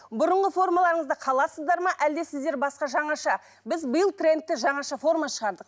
бұрынғы формаларыңызда қаласыздар ма әлде сіздер басқа жаңаша біз биыл трендті жаңаша форма шығардық